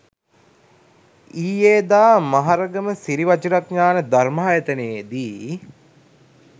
ඊයේ දා මහරගම සිරි වජිරඤාණ ධර්මායතනයේදී